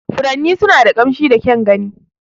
Furanni suna da ƙamshi da kyan gani.